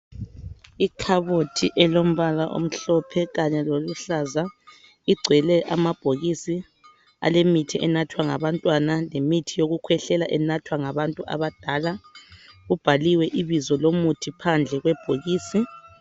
Ikhabothi elombala omhlophe kanye loluhlaza igcwele amabhokisi alemithi enathwa ngabantwana lemithi yokukhwehlela enathwa ngabantu abadala kubhaliwe ibizo lomuthi phandle kwebhokisi.